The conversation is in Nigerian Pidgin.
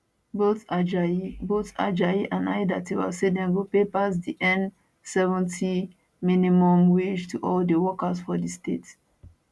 both ajayi both ajayi and aiyedatiwa say dem go pay pass di n70000 minimum wage to all di workers for di state